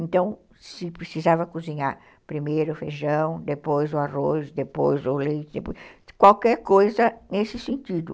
Então, se precisava cozinhar primeiro o feijão, depois o arroz, depois o leite, qualquer coisa nesse sentido.